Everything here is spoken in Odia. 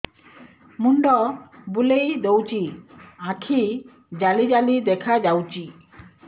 ମୁଣ୍ଡ ବୁଲେଇ ଦଉଚି ଆଖି ଜାଲି ଜାଲି ଦେଖା ଯାଉଚି